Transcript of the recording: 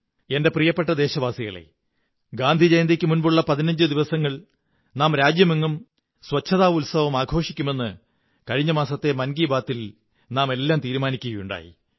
എന്റെ പ്രിയപ്പെട്ട ദേശവാസികളേ ഗാന്ധിജയന്തിക്കു മുമ്പുള്ള പതിനഞ്ചു ദിവസങ്ങൾ നാം രാജ്യമെങ്ങും ശുചിത്വ ഉത്സവമാഘോഷിക്കുമെന്ന് കഴിഞ്ഞ മാസത്തെ മൻ കീ ബാത്തിൽ നാമെല്ലാം തീരുമാനിക്കയുണ്ടായി